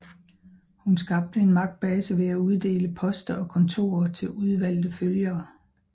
Hun skabte en magtbase ved at uddele poster og kontorer til udvalgte følgere